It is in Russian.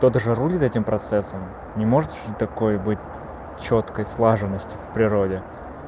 кто то тоже рулит этим процессом не может же такой быть чёткой слаженности в природе